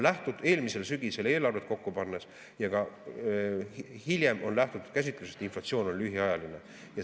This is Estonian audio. Eelmisel sügisel eelarvet kokku pannes ja ka hiljem on lähtutud käsitlusest, et inflatsioon on lühiajaline.